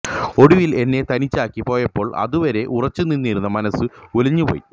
ഒടുവിൽ എന്നെ തനിച്ചാക്കി പോയപ്പോൾ അതുവരെ ഉറച്ചു നിന്നിരുന്ന മനസ്സ് ഉലഞ്ഞു പോയി